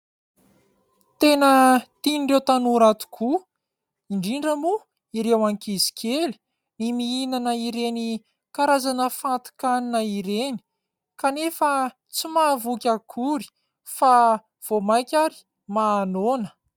Tena tian'ireo tanora tokoa, indrindra moa ireo ankizy kely ny mihinana ireny karazana fatin-kanina ireny, kanefa tsy mahavoky akory fa vao mainka ary mahanoana.